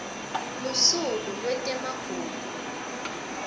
lusuku lwetemagugu